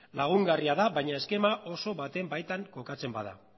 lagungarria da baina eskema oso baten baitan kokatzen bada